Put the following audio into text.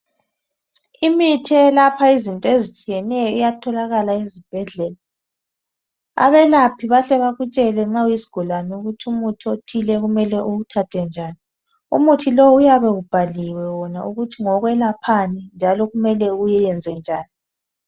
Imithi eyelapha izinto ezitshiyeneyo iyatholakala ezibhedlela abelaphi bahle bakutshele nxa uyisigulani ukuthi umuthi othile kumele uwuthathe njani umuthi lo uyabe kubhaliwe wona ukuthi ngowelaphani njalo kumele uwenze njani.